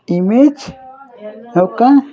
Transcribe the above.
Image ఒక్క.